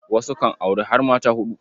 Wasu kan auri har mata huɗu.